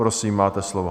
Prosím, máte slovo.